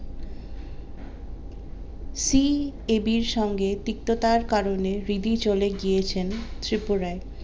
CAB র সঙ্গে তিক্ততার কারণে রিধি চলে গিয়েছেন ত্রিপুরায়